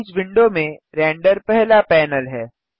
properties window में render पहला panel है